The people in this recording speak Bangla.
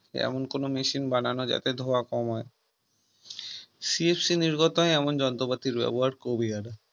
এমন কোন machine বানানো যাতে ধোয়া কমায় CFC নির্গত এমন যন্ত্রপাতির ব্যবহার কমিয়ে আনা